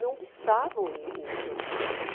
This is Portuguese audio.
Não pensavam em em ter uma carreira.